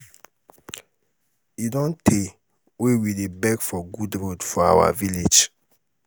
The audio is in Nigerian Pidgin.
e don tey wey we dey beg for good road for our village.